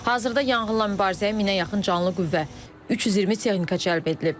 Hazırda yanğınla mübarizəyə minə yaxın canlı qüvvə, 320 texnika cəlb edilib.